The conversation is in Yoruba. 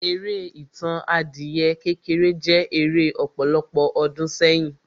Eré Ìtàn adìyẹ kékeré jẹ́ eré ọ̀pọ̀lọpọ̀ ọdún sẹ́yìn.